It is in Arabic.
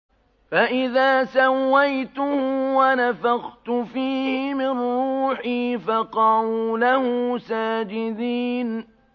فَإِذَا سَوَّيْتُهُ وَنَفَخْتُ فِيهِ مِن رُّوحِي فَقَعُوا لَهُ سَاجِدِينَ